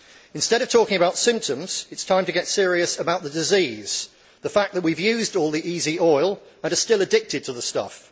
Instead of talking about symptoms, it is time to get serious about the disease the fact that we have used all the easy oil and are still addicted to the stuff.